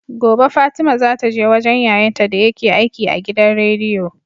Gobe fatima zata je wajan yayan ta dayake aiki a gidan rediyo